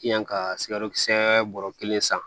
Yan ka sikaro kisɛ bɔrɔ kelen san